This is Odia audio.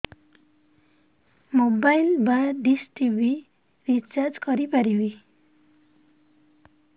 ମୋବାଇଲ୍ ବା ଡିସ୍ ଟିଭି ରିଚାର୍ଜ କରି ପାରିବି